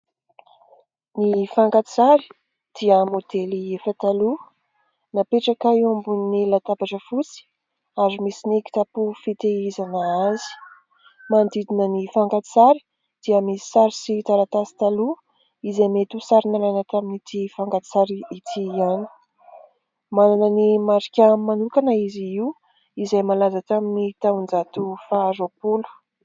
Ny fankatsary dia modely efa taloha, napetraka eo ambon'ny latabatra fotsy ary misy ny kitapo fitehizana azy. Manodidina ny fankan-tsary dia misy sary sy taratasy taloha izay mety ho sary nalaina tamin'ity fankan-tsary ity ihany. Manana ny marika manokana izy io izay malaza tamin'ny taon-jato faha roapolo.